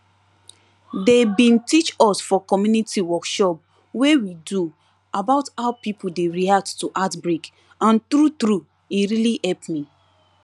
dey bin teach us for community workshop wey we do about how pipo dey react to outbreak and true true e really help me